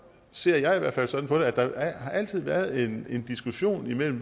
ser jeg i hvert fald sådan på det at der altid har været en diskussion